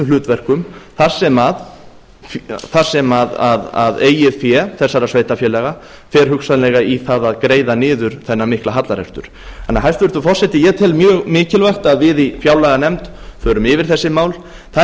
hlutverkum þar sem eigið fé þessara sveitarfélaga fer hugsanlega í það að greiða niður þennan mikla hallarekstur þannig að hæstvirtur forseti ég tel mjög mikilvægt að við í fjárlaganefnd förum yfir þessi mál það